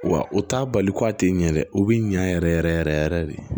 Wa o t'a bali ko a tɛ ɲɛ dɛ o bɛ ɲɛ yɛrɛ yɛrɛ yɛrɛ de